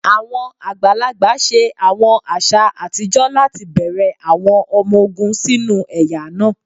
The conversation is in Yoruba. Awọn agbalagba ṣe awọn aṣa atijọ lati bẹrẹ awọn ọmọ ogun sinu ẹya naa.: